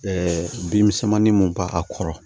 bin misɛnmanin mun b'a kɔrɔ